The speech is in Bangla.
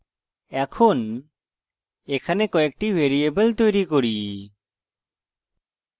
এখন এখানে কয়েকটি ভ্যারিয়েবল তৈরি করি